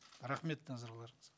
рахмет назарларыңызға